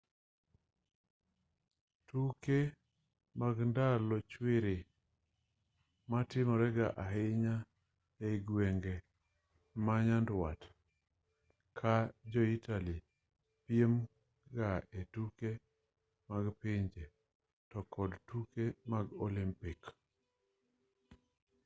tuke mag ndalo chwiri timore ga ahinya ei gwenge ma nyandwat ka jo-italy piem ga e tuke mag pinje to kod tuke mag olimpik